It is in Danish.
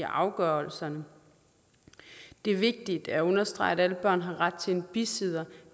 afgørelserne det er vigtigt at understrege at alle børn har ret til en bisidder